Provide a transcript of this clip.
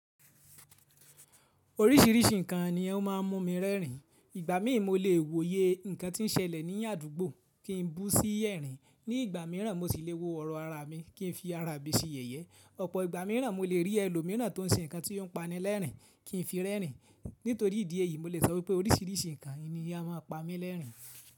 Oríṣìíríṣìí nǹkan ni o máa ń mú mi rẹ́rìn. Ìgbà mìí mo lè wo iye nǹkan tí ń ṣẹlẹ̀ ní àdúgbò kí n bú sí ẹ̀rìn. Ní ìgbà mìíràn mo si lè wo ọrọ àra mi kí n fi ara mi sí yeye Ọ̀pọ̀ ìgbà mìíràn mo lè rí ẹlòmìíràn tó ń ṣe nǹkan tí yóò pani lẹ́rìn kí n fi rẹ́rìn. Nítorí ìdí èyí, mo lè sọ pé oríṣìíríṣìí nǹkan ni a máa pa mí lẹ́rìn.